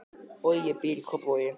Bogi býr í Kópavogi.